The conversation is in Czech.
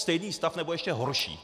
Stejný stav, nebo ještě horší.